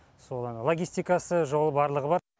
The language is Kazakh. сол енді логистикасы жолы барлығы бар